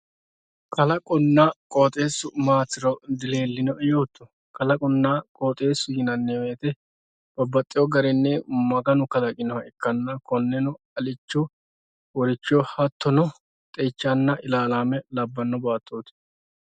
kalaqonna qooxeessu dilellinoe yooto kalaqote yineemmo woyte babbaxewo garinni maganu kalaqinoha ikkanna konnenno alicho woricho hattoono xeichanna ilaalame labbbanno baattooti